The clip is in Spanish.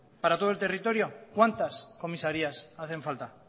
para todo el territorio cuántas comisarías hacen falta